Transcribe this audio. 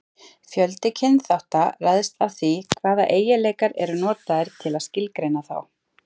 Fjöldi kynþátta ræðst af því hvaða eiginleikar eru notaðir til að skilgreina þá.